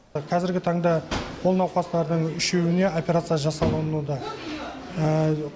қазіргі таңда ол науқастардың үшеуіне операция жасалынуда